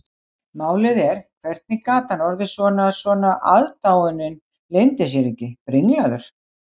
Málið er, hvernig gat hann orðið svona, svona,- aðdáunin leyndi sér ekki- brenglaður?